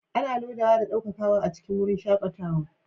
Ana lodawa da ɗaukakawa a cikin wurin shakatawa